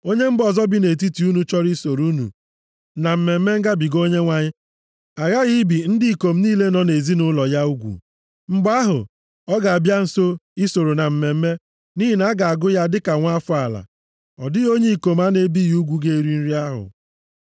“Onye mba ọzọ bi nʼetiti unu chọrọ isoro unu na Mmemme Ngabiga Onyenwe anyị aghaghị ibi ndị ikom niile nọ nʼezinaụlọ ya ugwu. Mgbe ahụ, ọ ga-abịaru nso isoro na mmemme, nʼihi na a ga-agụ ya dịka nwa afọ ala. Ọ dịghị onye ikom a na-ebighị ugwu ga-eri nri ahụ.